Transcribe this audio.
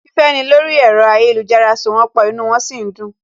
Fífẹ́ni lórí ẹ̀rọ ayélujára so wón pọ̀, inú wọn sì ń dùn